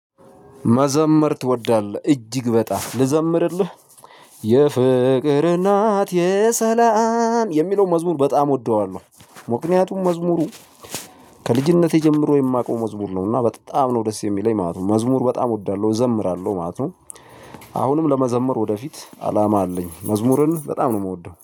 መዘመር ትወዳለህ እጅግ በጣም ልዘምርልህ? የፍቅር እናት የሰላም የሚለውን መዝሙር በጣም እወደዋለሁ ምክንያቱም መዝሙሩ ከልጅነቴ ጀምሮ የማውቀው መዝሙር ነውና በጣም ነው ደስ የሚለኝ ማለት ነው መዝሙር በጣም እወዳለሁ እዘምራለሁ ማለት ነው። አሁንም ለመዘምር ወደፊት አላማ አለኝ መዝሙርን በጣም ነው እምወደው